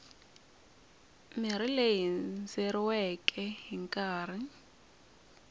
mirhi leyi hindzeriweke hi nkarhi